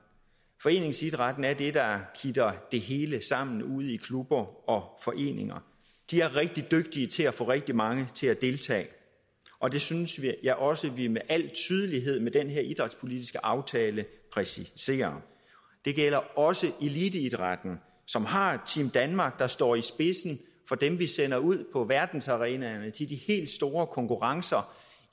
foreningsidrætten er det der kitter det hele sammen ude i klubber og foreninger de er rigtig dygtige til at få rigtig mange til at deltage og det synes jeg også at vi med al tydelighed med den her idrætspolitiske aftale præciserer det gælder også eliteidrætten som har team danmark der står i spidsen for dem vi sender ud på verdensarenaerne til de helt store konkurrencer